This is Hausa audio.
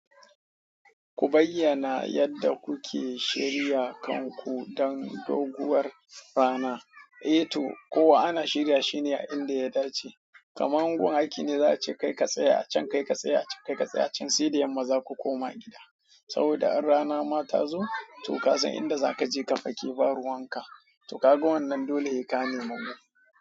Ku bayyana yadda kuke shirya kanku don doguwar rana. Eh to, kowa ana shirya shine a inda ya dace. Kamar gun aiki ne za'a ce kai ka tsaya acan kai ka tsaya acan kai ka tsaya acan saida yamma zaka koma gida. Saboda an rana ma tazo, to kasan inda zaka je ka fake ba ruwan ka. To kaga wannan dole sai nemi gu.